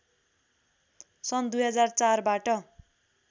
सन् २००४ बाट